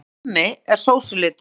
Alli kommi er sósulitur.